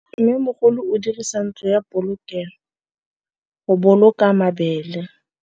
Mmêmogolô o dirisa ntlo ya polokêlô, go boloka mabele.